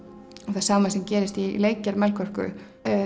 það sama sem gerist í leikgerð Melkorku